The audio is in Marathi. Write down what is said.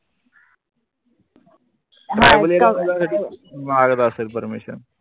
माघत आसल permission